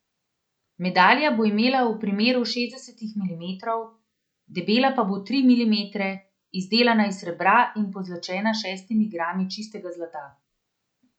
Medalja bo imela v premeru šestdeset milimetrov, debela pa bo tri milimetre, izdelana iz srebra in pozlačena s šestimi grami čistega zlata.